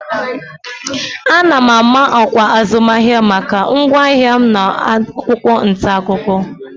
Ana m ama ọkwa azụmahịa maka ngwaahịa m n'akwụkwọ ntaakụkọ